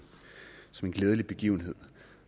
glædelig begivenhed